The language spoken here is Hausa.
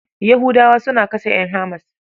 Yahudawa suna kashe ƴan HAMAS.